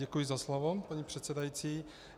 Děkuji za slovo, paní předsedající.